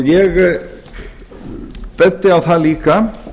ég bendi á það líka